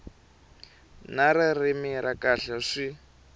na ririmi ra kahle swi